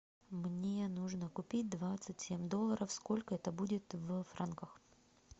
мне нужно купить двадцать семь долларов сколько это будет в франках